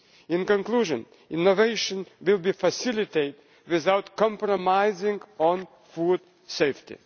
In conclusion, innovation will be facilitated without compromising on food safety.